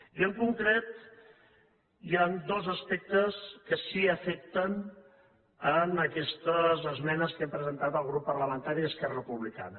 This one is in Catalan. i en concret hi han dos aspectes que sí que afecten aquestes esmenes que hem presentat el grup parlamentari d’esquerra republicana